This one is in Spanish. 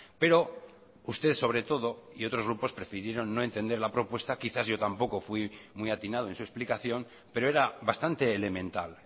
pero usted sobre todo y otros grupos prefirieron no entender la propuesta quizás yo tampoco fui muy atinado en su explicación pero era bastante elemental